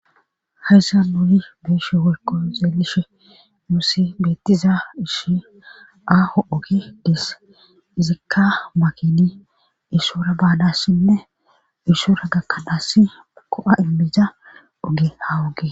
Hayssa nuni beeshe worko zeelishe nusi beettiza ishi aaho oge dis izikka makini isora baanassinne ishora gakkanaass ko7a immiza oge haw oge.